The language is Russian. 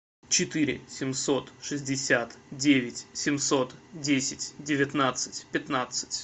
четыре семьсот шестьдесят девять семьсот десять девятнадцать пятнадцать